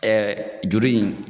juru in